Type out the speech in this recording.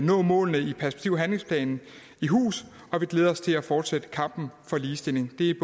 nå målene i perspektiv og handlingsplanen i hus og vi glæder os til at fortsætte kampen for ligestilling det